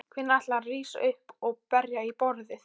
Hvenær ætlarðu að rísa upp og berja í borðið?